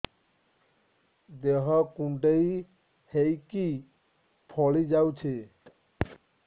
ଦେହ କୁଣ୍ଡେଇ ହେଇକି ଫଳି ଯାଉଛି